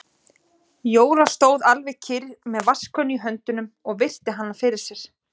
Jóra stóð alveg kyrr með vatnskönnu í höndunum og virti hann fyrir sér.